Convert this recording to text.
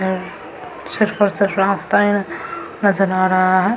और सिर्फ और सिर्फ़ रास्ता यहां नजर आ रहा है।